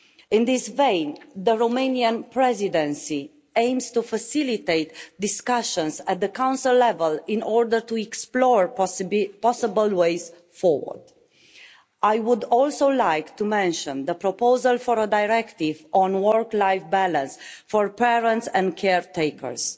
In this vein, the Romanian Presidency aims to facilitate discussions at the Council level in order to explore possible ways forward. I would also like to mention the proposal for a directive on work-life balance for parents and caretakers.